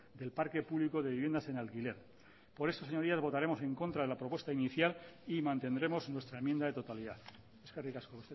del parque público de viviendas en alquiler por eso señorías votaremos en contra de la propuesta inicial y mantendremos nuestra enmienda de totalidad eskerrik asko